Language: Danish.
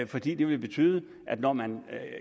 fordi det ville betyde at når man